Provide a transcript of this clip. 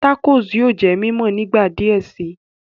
Tacos yóò jẹ mímọ nígbà diẹ sí